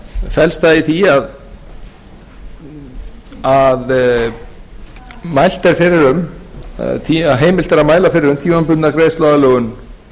felst það í því að heimilt er að mæla fyrir um tímabundna greiðsluaðlögun